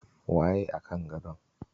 Waye a kan gadon?